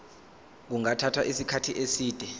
kungathatha isikhathi eside